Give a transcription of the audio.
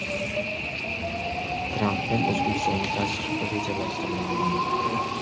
Trampning O‘zbekistonga tashrifi rejalashtirilmagan.